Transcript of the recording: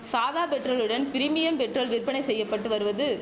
சாதா பெட்ரோலுடன் premium petrol விற்பனை செய்ய பட்டு வருவது